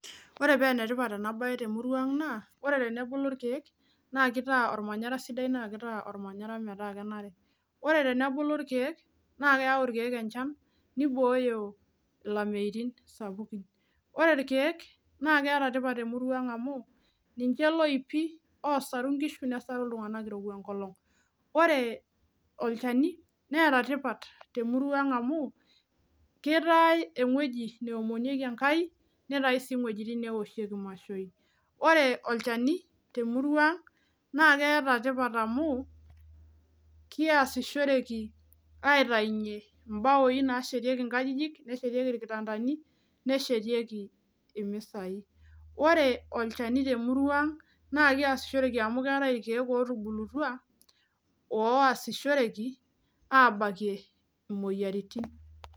Ore penetipat ena baye temurua ang naa ore tenebulu irkeek naa kitaa ormanyara sidai naa kitaa ormanyara metaa kenare ore tenebulu irkeek naa keyau irkeek enchan nibooyo ilameitin sapukin ore irkeek naa keeta tipat temurua ang amu ninche iloipi osaru inkishu nesaru iltung'anak irowua enkolong ore olchani neeta tipat temurua ang amu kitae eng'ueji neomonieki enkai neetae sii ing'uejitin newoshieki imashoi ore olchani temurua ang naa keeta tipat amu kiasishoreki aitainyie imbaoi nashetieki inkajijik neshetieki irkitandani neshetieki imisai ore olchani temurua ang naa kiasishoreki amu keetae irkeek otubulutua oasishoreki abakie imoyiaritin.